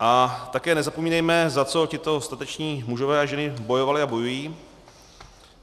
A také nezapomínejme, za co tito stateční mužové a ženy bojovali a bojují.